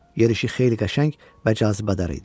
Yeriyişi xeyli qəşəng və cazibədar idi.